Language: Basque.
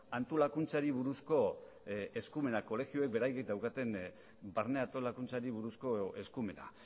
antolakuntzari buruzko eskumenak kolegioek beraiek daukaten barne antolakuntzari buruzko eskumena